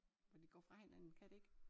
At det går fra hinanden kan det ik?